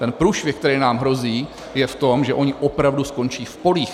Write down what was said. Ten průšvih, který nám hrozí, je v tom, že oni opravdu skončí v polích.